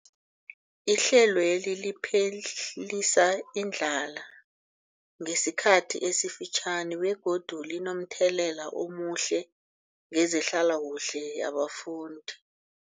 Ihlelweli liphelisa indlala yesikhathi esifitjhani begodu linomthelela omuhle kezehlalakuhle yabafundi.